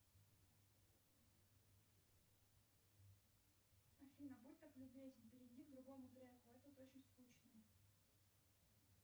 афина будь так любезна перейди к другому треку этот очень скучный